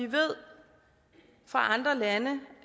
ved